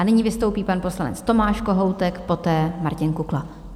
A nyní vystoupí pan poslanec Tomáš Kohoutek, poté Martin Kukla.